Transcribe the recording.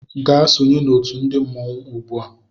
Gaa sonye na otu ndi mmọnwụ ugbu a!